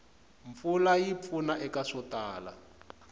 mpfula yi pfuna eka swo tala